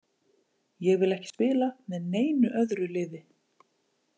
Ég vil ekki spila með neinu öðru liði.